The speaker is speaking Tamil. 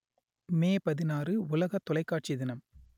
மே பதினாறு உலக தொலைக்காட்சி தினம்